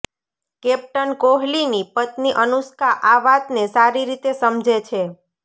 captain કોહલીની પત્ની અનુષ્કા આ વાતને સારી રીતે સમજે છે